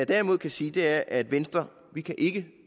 derimod kan sige er at venstre ikke kan